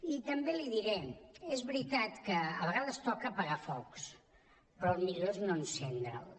i també l’hi diré és veritat que a vegades toca apagar focs però el millor és no encendre’ls